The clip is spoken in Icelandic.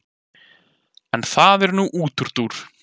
en það er nú útúrdúr